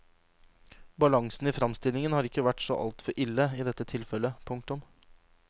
Balansen i fremstillingen har ikke vært så altfor ille i dette tilfellet. punktum